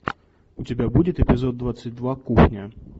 у тебя будет эпизод двадцать два кухня